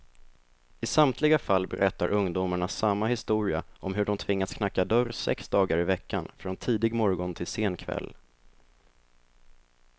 I samtliga fall berättar ungdomarna samma historia om hur de tvingats knacka dörr sex dagar i veckan, från tidig morgon till sen kväll.